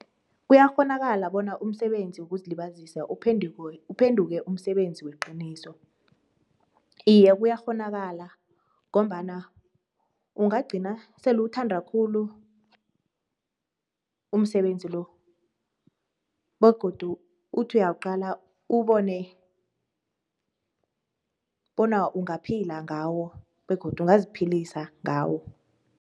Kuyakghonakala bona umsebenzi wokuzilibasiza uphenduke umsebenzi weqiniso? Iya kuyakghonakala ngombana ungagqina esele uwuthanda khulu umsebenzi lo begodu uthi uyawuqala uwubone bona ungaphila ngawo begodu ungaziphilisa ngawo.